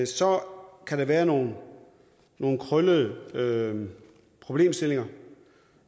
så kan der være nogle nogle krøllede problemstillinger